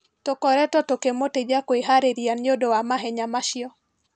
Tũkoretwo tũkĩmũteithia kwĩharĩria nĩũndũ wa mahenya macio.